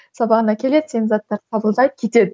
сабағына келеді сенің заттарыңды қабылдайды кетеді